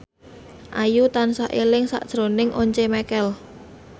Ayu tansah eling sakjroning Once Mekel